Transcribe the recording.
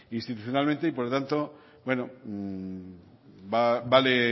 institucionalmente y por lo tanto vale